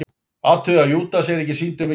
Athugið að Júdas er ekki sýndur með geislabaug.